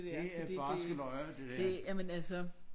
Det er barske løjer det der